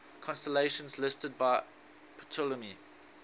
constellations listed by ptolemy